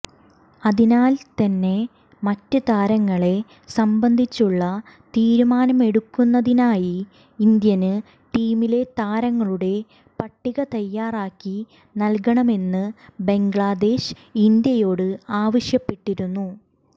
അതിനാല് തന്നെ മറ്റ് താരങ്ങളെ സംബന്ധിച്ചുള്ള തീരുമാനമെടുക്കുന്നതിനായി ഇന്ത്യന് ടീമിലെ താരങ്ങളുടെ പട്ടിക തയ്യാറാക്കി നല്കണമെന്ന് ബംഗ്ലാദേശ് ഇന്ത്യയോട് ആവശ്യപ്പെട്ടിരുന്നു